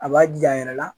A b'a jija a yɛrɛ la